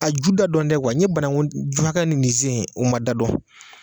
A ju da dɔn tɛ n ye banaku ju hakɛ ni sen u ma da dɔn.